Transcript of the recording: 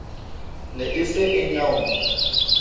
ne e se e nyeunya